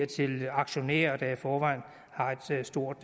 til aktionærer der i forvejen har et stort